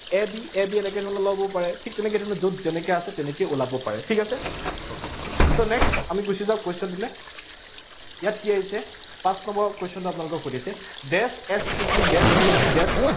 a b, a b এনেকে ধৰণে ওলাবও পাৰে। ঠিক তেনেকে ধৰণে যত যেনেকে আছে, তেনেকে ওলাবও পাৰে। ঠিক আছে? so next আমি গুছি যাওঁ question টোলে, ইয়াত কি আহিছে, পাঁচ number question টো আপোনালোকক সুধিছে dash s t t, dash t t, dash